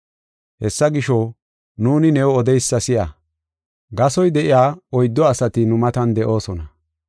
“Hessa gisho, nuuni new odeysa si7a; gasoy de7iya oyddu asati nu matan de7oosona.